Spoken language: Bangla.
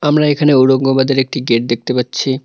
আমরা এখানে ঔরঙ্গবাদের একটি গেট দেখতে পাচ্ছি।